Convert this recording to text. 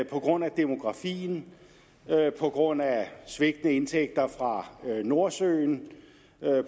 på grund af demografien på grund af svigtende indtægter fra nordsøen